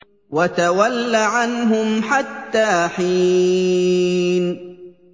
وَتَوَلَّ عَنْهُمْ حَتَّىٰ حِينٍ